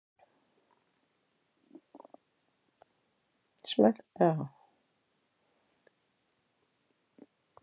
Í þessu svari er orðið notað í víðari merkingunni.